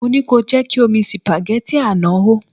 Mo ní kí o jẹ́ kí omi sìpàgẹ́tì àná hó.